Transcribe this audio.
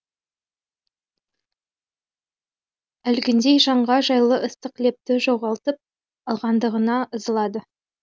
әлгіндей жанға жайлы ыстық лепті жоғалтып алғандығына ызылады